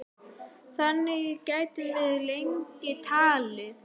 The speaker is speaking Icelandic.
Þannig gætum við lengi talið.